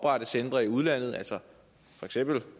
at skabe